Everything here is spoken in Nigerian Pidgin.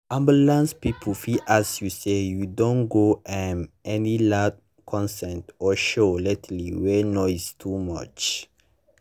ambulance people fit ask you say “you don go um any loud concert or show lately wey noise too much?”